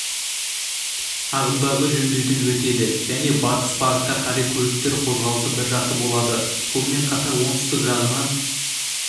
ағымдағы жөндеуден өтеді және батыс бағытқа қарай көліктер қозғалысы біржақты болады сонымен қатар оңтүстік жағынан